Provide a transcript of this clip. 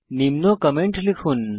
নিম্ন কমেন্ট লিখুন